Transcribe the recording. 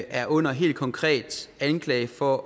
er under helt konkret anklage for